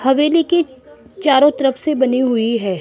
हवेली कि चारों तरफ से बनी हुई है।